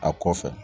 A kɔfɛ